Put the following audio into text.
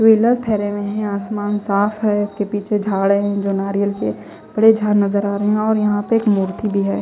आसमान साफ है उसके पीछे जो झाड़ है जो नारियल के बड़े झाड़ नजर आरे है और यहा पे एक मूर्ति भी है।